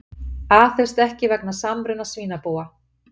Aðhefst ekki vegna samruna svínabúa